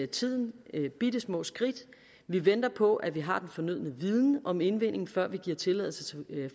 tiden bittesmå skridt vi venter på at vi har den fornødne viden om indvinding før vi giver tilladelse til